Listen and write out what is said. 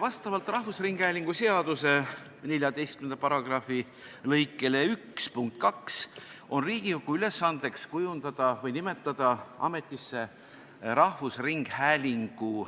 Vastavalt Eesti Rahvusringhäälingu seaduse § 14 lõike 1 punktile 2 on Riigikogu ülesandeks nimetada ametisse rahvusringhäälingu